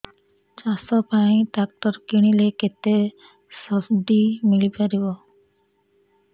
ଚାଷ ପାଇଁ ଟ୍ରାକ୍ଟର କିଣିଲେ କେତେ ସବ୍ସିଡି ମିଳିପାରିବ